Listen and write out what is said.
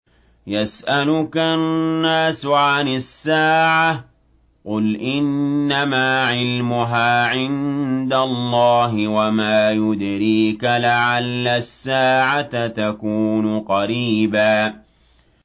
يَسْأَلُكَ النَّاسُ عَنِ السَّاعَةِ ۖ قُلْ إِنَّمَا عِلْمُهَا عِندَ اللَّهِ ۚ وَمَا يُدْرِيكَ لَعَلَّ السَّاعَةَ تَكُونُ قَرِيبًا